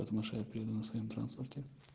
потому что я приду на своём транспорте